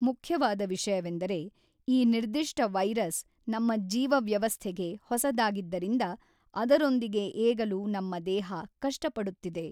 ಮುಖ್ಯವಾದ ವಿಷಯವೆಂದರೆ ಈ ನಿರ್ದಿಷ್ಟ ವೈರಸ್ ನಮ್ಮ ಜೀವವ್ಯವಸ್ಥೆಗೆ ಹೊಸದಾಗಿದ್ದರಿಂದ ಅದರೊಂದಿಗೆ ಏಗಲು ನಮ್ಮ ದೇಹ ಕಷ್ಟ ಪಡುತ್ತಿದೆ.